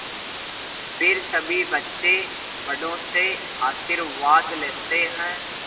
फिर सभी बच्चे बड़ों से आशीर्वाद लेते हैं